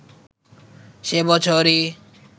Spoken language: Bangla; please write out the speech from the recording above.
সে বছরই